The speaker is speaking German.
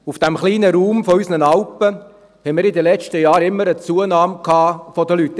Auf dem kleinen Raum unserer Alpen hatten wir in den letzten Jahren immer eine Zunahme der Anzahl Leute.